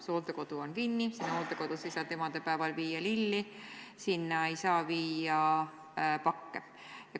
See hooldekodu on kinni, sinna ei saanud emadepäeval viia lilli, sinna ei saa viia pakke.